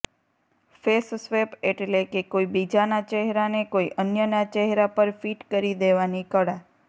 face swap એટલે કે કોઇ બીજાના ચહેરાને કોઇ અન્યના ચહેરા પર ફિટ કરી દેવાની કળા